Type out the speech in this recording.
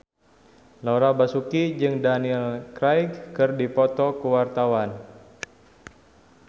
Laura Basuki jeung Daniel Craig keur dipoto ku wartawan